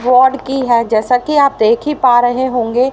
की है जैसा कि आप देख ही पा रहे होंगे।